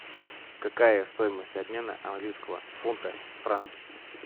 какая стоимость обмена английского фунта в франки